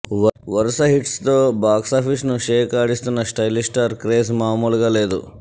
వరుస హిట్స్ తో బాక్సాఫీస్ ను షేక్ ఆడిస్తున్న స్టైలిష్ స్టార్ క్రేజ్ మాములుగా లేదు